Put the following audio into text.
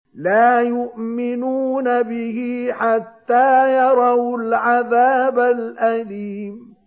لَا يُؤْمِنُونَ بِهِ حَتَّىٰ يَرَوُا الْعَذَابَ الْأَلِيمَ